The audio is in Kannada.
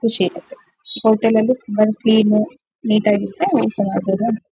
ಖುಷಿಯಾಗುತ್ತೆ. ಹೋಟೆಲ್ ಲ್ಲು ತುಂಬಾ ಕ್ಲೀನು ನಿಟಾಗಿದ್ರೆ --